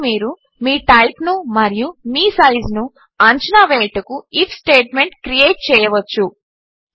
కాబట్టి మీరు మీ టైప్ను మరియు మీ సైజ్ను అంచనా వేయుటకు ఐఎఫ్ స్టేట్మెంట్ క్రియేట్ చేయవచ్చు